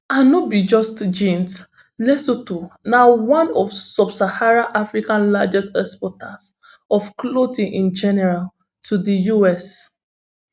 and no be just jeans lesotho na one of subsaharan africa largest exporters of clothing in general to di us